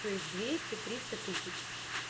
то есть двести триста тысяч